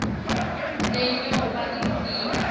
le nyoka iviwe